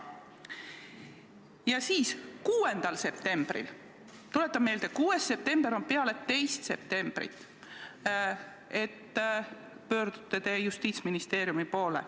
Ja 6. septembril – tuletan meelde, 6. september on peale 2. septembrit – pöördute te Justiitsministeeriumi poole.